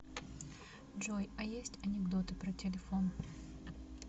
джой а есть анекдоты про телефон